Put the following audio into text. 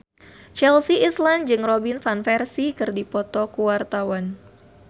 Chelsea Islan jeung Robin Van Persie keur dipoto ku wartawan